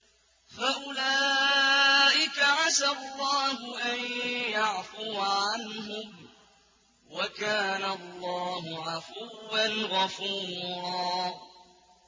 فَأُولَٰئِكَ عَسَى اللَّهُ أَن يَعْفُوَ عَنْهُمْ ۚ وَكَانَ اللَّهُ عَفُوًّا غَفُورًا